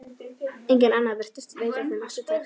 Enginn annar virtist veita þeim eftirtekt.